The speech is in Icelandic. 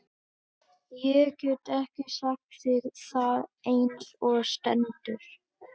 Edda er leið fyrst á eftir og eigrar um íbúðina.